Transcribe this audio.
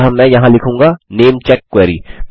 अतः मैं यहाँ लिखूँगा नेमचेक क्वेरी